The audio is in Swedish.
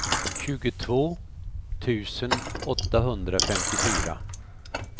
tjugotvå tusen åttahundrafemtiofyra